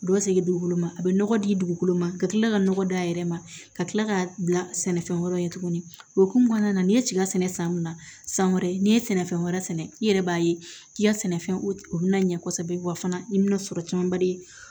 U bɛ segin dugukolo ma a bɛ nɔgɔ di dugukolo ma ka tila ka nɔgɔ d'a yɛrɛ ma ka kila k'a bila sɛnɛfɛn wɛrɛ ye tuguni o hukumu kɔnɔna na n'i ye cikɛ sɛnɛ san min na san wɛrɛ n'i ye sɛnɛfɛn wɛrɛ sɛnɛ i yɛrɛ b'a ye k'i ka sɛnɛfɛn u bɛna ɲɛ kosɛbɛ wa fana i bɛna sɔrɔ camanba de